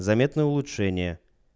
заметно улучшение